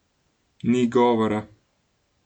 Ni govora!